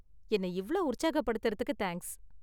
என்ன இவ்ளோ உற்சாகப்படுத்தறதுக்கு தேங்க்ஸ்.